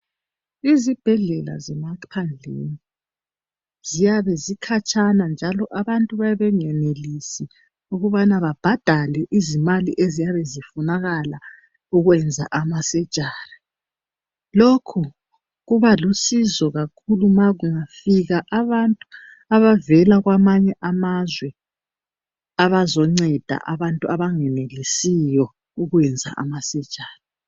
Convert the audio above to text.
Izibhedlela zemaphandleni ziyabe zikhatshana njalo abantu bayabe bengayenelisi ukubana babhadale izimali eziyabe zifunakala ukwenza amasurgery lokhu kubalusizo kakhulu nxa kungafika abantu abavela kwamanye amazwe abazongceda abanye abangenelisiyo ukwenza amasurgery